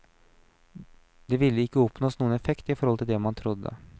Det ville ikke oppnås noen effekt i forhold til det man trodde.